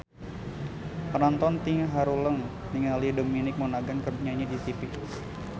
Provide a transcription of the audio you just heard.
Panonton ting haruleng ningali Dominic Monaghan keur nyanyi di tipi